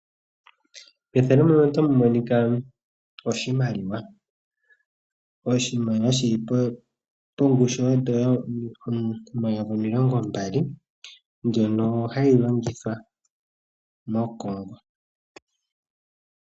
Oshimaliwa shili pongushu yoondola omayovi omilongo mbali mbyono hayi longithwa moCongo. Iimaliwa oya simana lela noonkondo oshoka oyo hayi longithwa mokulanda iipumbiwa yomonkalamwenyo.